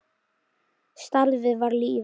Starfið var lífið.